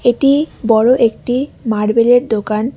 এটি বড়ো একটি মার্বেলের দোকান।